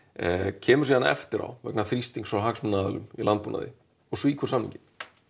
kemur síðan eftir á vegna þrýstings frá hagsmunaaðilum í landbúnaði og svíkur samninginn